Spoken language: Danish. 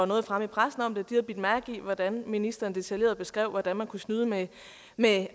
noget fremme i pressen om det de havde bidt mærke i hvordan ministeren detaljeret beskrev hvordan man kunne snyde med